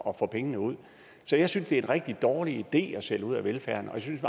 at få pengene ud så jeg synes det er en rigtig dårlig idé at sælge ud af velfærden og jeg synes